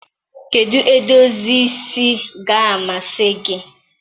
kedụ edozi isi ga-amasị gị?